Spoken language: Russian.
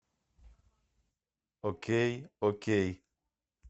окей окей